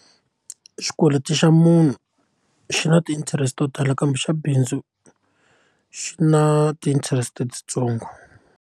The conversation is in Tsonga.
Xikweleti xa munhu xi na ti interest to tala kambe xa bindzu xi na ti interest letitsongo.